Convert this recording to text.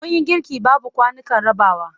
Mun yi girki babu kwanukan rabawa.